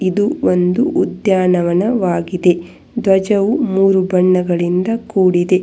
ಇದು ಒಂದು ಉದ್ಯಾನವನ ವಾಗಿದೆ ಧ್ವಜವು ಮೂರು ಬಣ್ಣಗಳಿಂದ ಕೂಡಿದೆ.